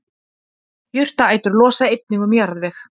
jurtaætur losa einnig um jarðveg